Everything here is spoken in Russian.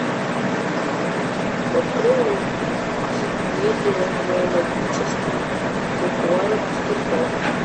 открой мультипедия зоологический букварик в стихах